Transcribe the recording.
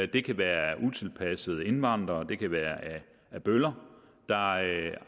det kan være af utilpassede indvandrere det kan være af bøller der har